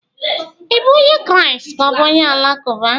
Ị bụ onye Kraịst ka ọ bụ onye Alakụba?